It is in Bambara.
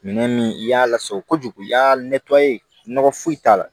Minɛn min i y'a lasago kojugu i y'a nɔgɔ foyi t'a la